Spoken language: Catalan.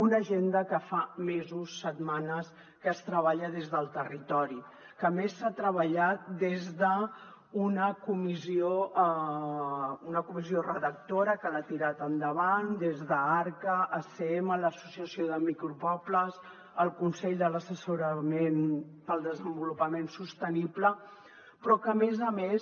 una agenda que fa mesos setmanes que es treballa des del territori que a més s’ha treballat des d’una comissió redactora que l’ha tirat endavant des d’arca acm l’associació de micropobles el consell assessor per al desenvolupament sostenible però que a més a més